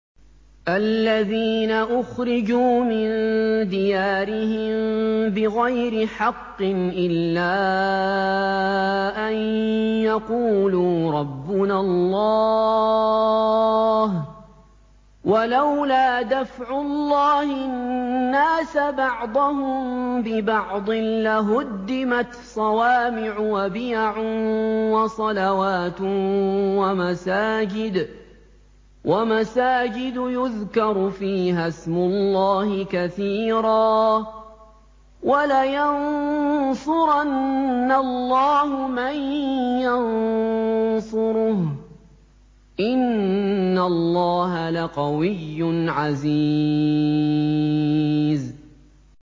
الَّذِينَ أُخْرِجُوا مِن دِيَارِهِم بِغَيْرِ حَقٍّ إِلَّا أَن يَقُولُوا رَبُّنَا اللَّهُ ۗ وَلَوْلَا دَفْعُ اللَّهِ النَّاسَ بَعْضَهُم بِبَعْضٍ لَّهُدِّمَتْ صَوَامِعُ وَبِيَعٌ وَصَلَوَاتٌ وَمَسَاجِدُ يُذْكَرُ فِيهَا اسْمُ اللَّهِ كَثِيرًا ۗ وَلَيَنصُرَنَّ اللَّهُ مَن يَنصُرُهُ ۗ إِنَّ اللَّهَ لَقَوِيٌّ عَزِيزٌ